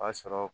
O b'a sɔrɔ